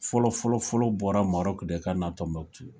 Fɔlɔfɔlɔfɔlɔ bɔra Maroc de kana Tombouctou